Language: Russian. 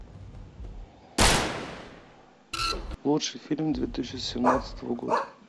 лучший фильм две тысячи семнадцатого года